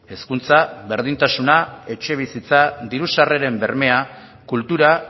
hezkuntza berdintasuna etxebizitza diru sarreren bermea kultura